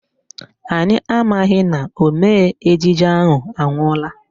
Anyị amaghị na omee ejije ahụ anwụọla